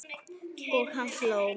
Og hann hló.